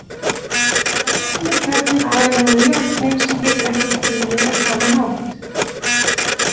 Að lokum er kjarninn aðallega úr járni sem getur ekki brunnið á sama hátt.